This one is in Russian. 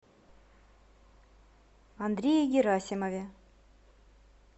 андрее герасимове